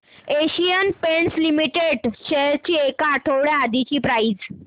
Asian paints limited shares ची एक आठवड्या आधीची प्राइस